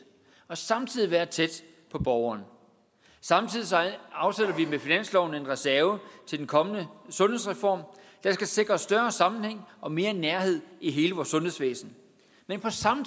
og samtidig være tæt på borgeren samtidig afsætter vi med finansloven en reserve til den kommende sundhedsreform der skal sikre større sammenhæng og mere nærhed i hele vores sundhedsvæsen men på samme